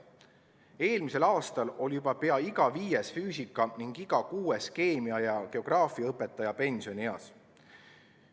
Eelmisel aastal oli juba pea iga viies füüsika- ning iga kuues keemia- ja geograafiaõpetaja pensionieas.